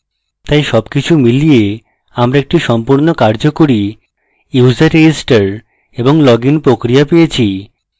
তাই সবকিছু মিলিয়ে আমরা একটি সম্পূর্ণ কার্যকরী user register এবং লগইন প্রক্রিয়া পেয়েছি